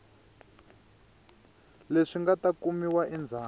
leswi nga ta kumiwa endzhaku